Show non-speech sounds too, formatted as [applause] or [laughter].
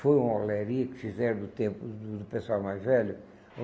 Foi uma [unintelligible] que fizeram do tempo do do pessoal mais velho.